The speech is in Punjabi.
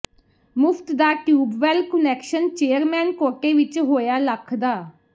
ਮੁਫ਼ਤ ਦਾ ਟਿਊਬਵੈੱਲ ਕੁਨੈਕਸ਼ਨ ਚੇਅਰਮੈਨ ਕੋਟੇ ਵਿੱਚ ਹੋਇਆ ਲੱਖ ਦਾ